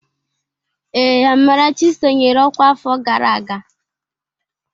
Ee, Amarachi sonyeere ọkwá afọ gara aga.